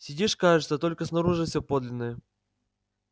сидишь кажется только снаружи все подлинное